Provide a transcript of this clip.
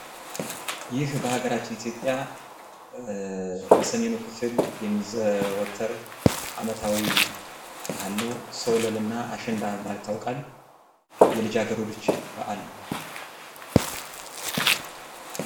ይህ በሀገራችን ኢትዮጵያ በሰሜኑ ክፍል የሚዘወተር አመታዊ በአል ነው። ሶለል እና አሸንዳ በመባል ይታወቃል። የልጃገረዶች በአል ነው።